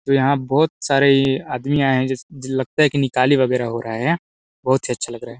जो यहाँ लगता है बहुत सारे आदमी आए हैं जी लगता है कि निकाली वह वगैरह हो रहा है बहोत ही अच्छा लग रहा है।